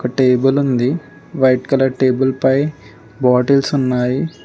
ఒక టేబుల్ ఉంది white colour table పై బాటిల్స్ ఉన్నాయి.